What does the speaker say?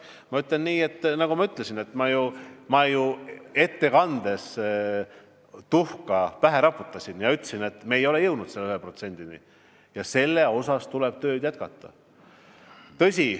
Ma ütlen nii, nagu ma ettekandes juba ütlesin ja endale tuhka pähe raputasin: me ei ole jõudnud selle 1%-ni ja seda tööd tuleb jätkata.